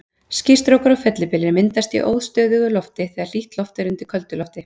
Skýstrókar og fellibyljir myndast í óstöðugu lofti, þegar hlýtt loft er undir köldu lofti.